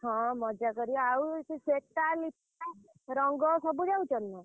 ହଁ ମଜା କରିବ ଆଉ ସେ ଶ୍ଵେତା ରଙ୍ଗ ସବୁ ଯାଉଛନ୍ତି ନା?